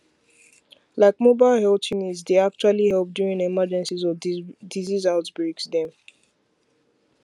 like mobile helth units dy actually help during emergencies or disease outbreaks dem